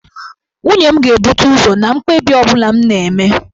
Nne m ga na-ebute ụzọ na mkpebi ọ bụla m na-eme.